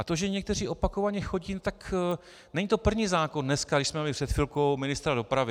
A to, že někteří opakovaně chodí - tak není to první zákon dneska, když jsme měli před chvilkou ministra dopravy.